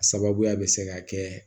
A sababuya bɛ se ka kɛ